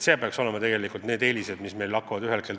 Need peaksid olema meie eelised, mis ühel hetkel ilmnema hakkavad.